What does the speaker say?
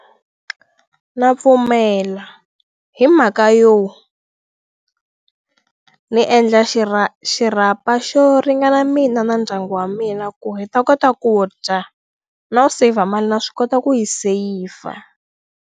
Ndza pfumela hi mhaka yo ni endla xirhapa xo ringana mina na ndyangu wa mina ku hi ta kota ku dya no save mali na swi kota ku yi seyivha.